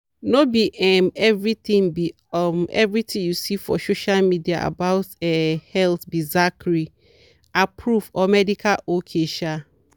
no be um everything be um everything you see for social media about um health be zachary-approved or medical ok. um